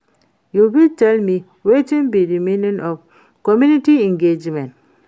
you fit tell me wetin be di meaning of community engagement?